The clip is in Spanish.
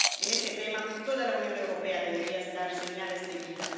En ese tema, toda la Unión Europea debería dar señales de vida